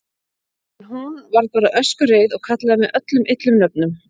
En hún. varð bara öskureið og kallaði mig öllum illum nöfnum.